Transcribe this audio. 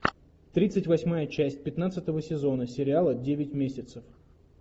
тридцать восьмая часть пятнадцатого сезона сериала девять месяцев